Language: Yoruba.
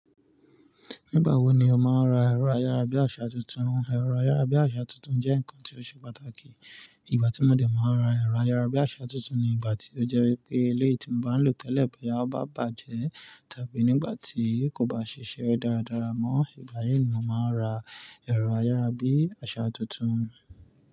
Nígbà wo ni o máa ra ẹ̀rọ ayárabíàṣá tuntun? Ẹ̀rọ ayárabíàṣá tuntun jẹ́ nǹkan tí ó ṣe pàtàkì. Ìgbà tí mo de máa ra ẹ̀rọ ayárabíàṣá tuntun ni ìgbà tí ó jẹ́ wipé eléyii ti mo bá ń lò tẹ́lẹ̀ bo yá ó bá bàjẹ́ tàbí nígbà tí kò bá ṣe iṣẹ́ dáradára mọ́. Ìgbà yii ni mo máa ra ẹ̀rọ ayárabíàṣá tuntun.